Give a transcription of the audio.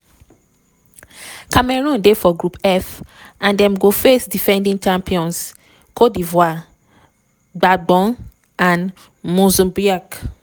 cameroon dey for group f and dem go face defending champions côte d’ivoire gabon and mozambique.